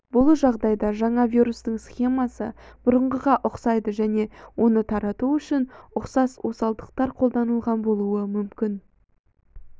бұл жағдайда жаңа вирустың схемасы бұрынғыға ұқсайды және оны тарату үшін ұқсас осалдықтар қолданылған болуы мүмкін